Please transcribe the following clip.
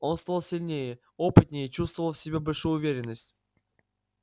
он стал сильнее опытнее чувствовал в себе большую уверенность